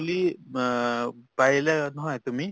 মাহ পাৰিলে নহয় তুমি